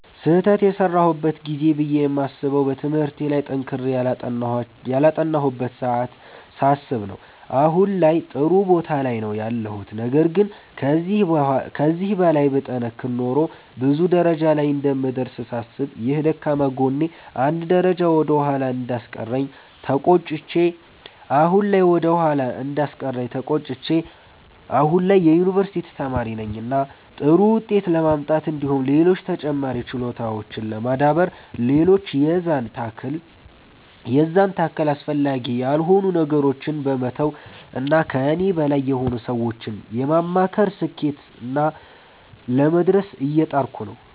ስህተት የሰራሁበት ጊዜ ብዬ የማስበዉ በትምህርቴ ላይ ጠንክሬ ያላጠናሁበትን ሰዓት ሳስብ ነዉ አሁን ላይም ጥሩ ቦታ ላይ ነዉ ያለሁት ነገር ግን ከዚህ በላይ ብጠነክር ኖሮ ብዙ ደረጃ ላይ እንደምደርስ ሳስብ ይህ ደካማ ጎኔ አንድ ደረጃ ወደ ኋላ እንዳስቀረኝ ተቆጭቼ አሁን ላይ የዩኒቨርሲቲ ተማሪ ነኝ እና ጥሩ ዉጤት ለማምጣት እንዲሁም ሌሎች ተጨማሪ ችሎታዎችን ለማዳበር ሌሎች የዛን ታክል አስፈላጊ ያልሆኑ ነገሮችን በመተዉ እና ከኔ በላይ የሆኑ ሰዎችን በማማከር ስኬትና ላይ ለመድረስ እየጣርኩ ነዉ።